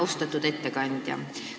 Austatud ettekandja!